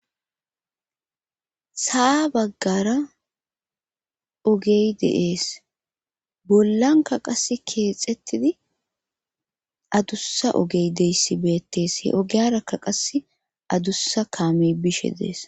Saa baggara ogey deees bollanka qas keexettidi adussa ogey deyssi beettees he ogeyarakka qas adussa kaame bishe dees.